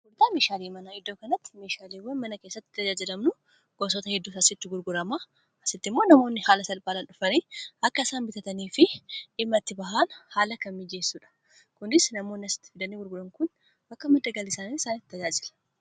Gurgurtaa meeshaaleemanaa: iddoo kanatti meeshaaleewwan mana keessatti tajaajilamnu gosota hedduu asitti gurguramaa asitti immoo namoonni haala salphaadhaan dhufanii akka isaan bitatanii fi dhimma itti bahaan haala kan miijeessuudha kunis namoonni asitti fidani gurguran kun akka madda galii isaanitti tajaajila